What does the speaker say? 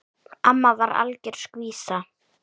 Amma var algjör skvísa.